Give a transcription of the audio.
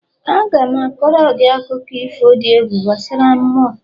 Aga m a koro gị akụkọ ifo dị egwu gbasara mmụọ